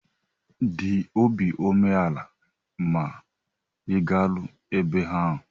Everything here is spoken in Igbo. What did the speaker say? Dị obi umeala ma ị garuo ebe ahụ!